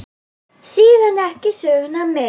Síðan ekki söguna meir.